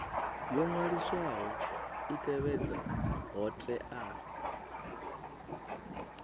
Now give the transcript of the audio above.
yo waliswaho i tevhedze hoea